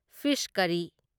fees ꯀꯔꯔꯤ